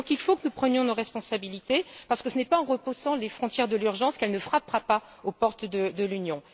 Il faut donc que nous prenions nos responsabilités, parce que ce n'est pas en repoussant les frontières de l'urgence qu'elle ne frappera pas aux portes de l'Union.